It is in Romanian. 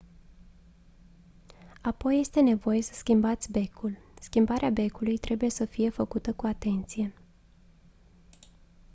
apoi este nevoie să schimbați becul schimbarea becului trebuie să fie făcută cu atenție